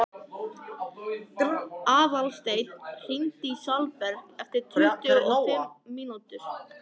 Aðalsteinn, hringdu í Salberg eftir tuttugu og fimm mínútur.